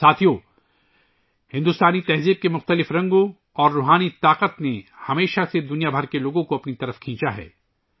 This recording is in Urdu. ساتھیو ، ہندوستانی ثقافت کے متنوع رنگ اور روحانی طاقت نے ہمیشہ پوری دنیا کے لوگوں کو راغب کیا ہے